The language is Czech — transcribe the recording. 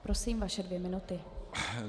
Prosím, vaše dvě minuty.